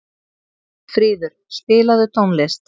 Fríður, spilaðu tónlist.